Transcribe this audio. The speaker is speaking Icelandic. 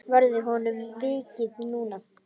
Verður honum vikið núna?